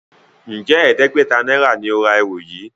Njé ẹdẹgbẹta náírà ní o rà ẹrù yí?